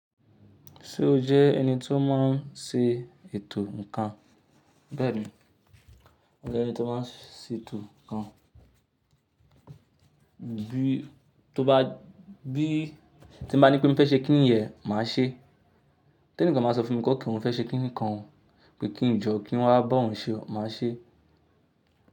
Ṣé o jẹ́ ẹni tó máa n ṣe ètò ǹnkan? Bẹ́ẹ̀ni, mo jẹ́ ẹni tó máa n ṣe ètò ǹnkan. Bí tó bá, bí tí mo bá ní pé mo fẹ́ ṣe kìnìyẹn, màá ṣe é. Ti enìkàn bá sọ fún mi pe okay mo fẹ́ ṣe kìnìkàn, pé kí n jọ kí n wá bá òun ṣe ó, màá ṣe é.